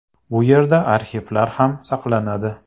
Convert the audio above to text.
Bu yerda arxivlar ham saqlanadi.